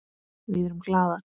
Við erum glaðar.